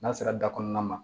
N'a sera da kɔnɔna ma